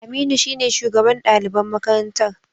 Aminu shine shugaban daliban makarantar